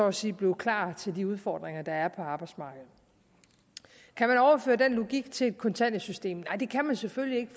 at sige blive klar til de udfordringer der er på arbejdsmarkedet kan man overføre den logik til kontanthjælpssystemet nej det kan man selvfølgelig